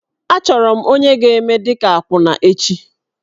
Achọrọ m onye ga-eme dị ka akwụna echi.